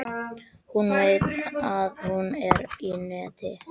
Hún veit að hún er í neti.